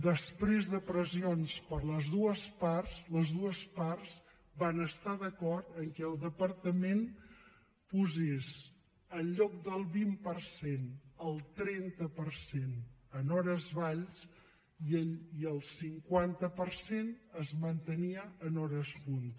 després de pressions per les dues parts les dues parts van estar d’acord que el departament posés en lloc del vint per cent el trenta per cent en hores vall i el cinquanta per cent es mantenia en hores punta